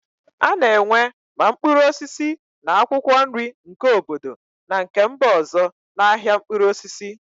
A na-enwe ma mkpụrụ osisi na akwụkwọ nri nke obodo na nke mba ọzọ na ahịa mkpụrụ osisi.